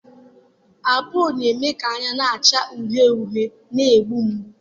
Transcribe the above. apolo na-eme ka anya na-acha uhie uhie na-egbu mgbu.